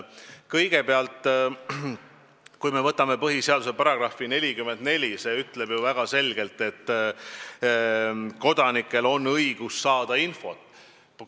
Kõigepealt, kui me võtame põhiseaduse, siis selle § 44 ütleb väga selgelt, et kodanikel on õigus saada infot.